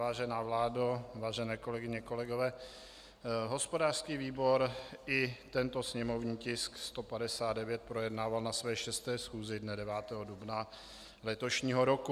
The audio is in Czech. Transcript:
Vážená vládo, vážené kolegyně, kolegové, hospodářský výbor i tento sněmovní tisk 159 projednával na své 6. schůzi dne 9. dubna letošního roku.